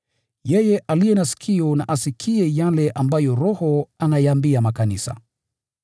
Yeye aliye na sikio na asikie yale ambayo Roho ayaambia makanisa.